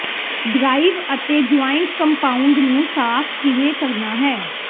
drive ਅਤੇ joint compound ਨੂੰ ਸਾਫ਼ ਕਿਵੇਂ ਕਰਨਾ ਹੈ